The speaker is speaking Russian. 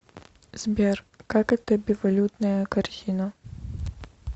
сбер как это бивалютная корзина